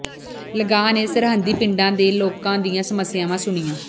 ਲੰਗਾਹ ਨੇ ਸਰਹੱਦੀ ਪਿੰਡਾਂ ਦੇ ਲੋਕਾਂ ਦੀਆਂ ਸਮੱਸਿਆਵਾਂ ਸੁਣੀਆਂ